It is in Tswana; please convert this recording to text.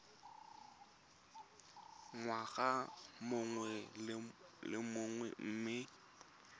ngwaga mongwe le mongwe mme